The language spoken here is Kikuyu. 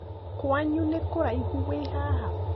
Kwanyu nĩ kũraihu wĩ haha?